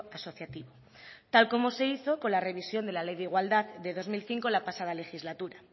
asociativo tal como se hizo con la revisión de la ley de igualdad de dos mil cinco la pasada legislatura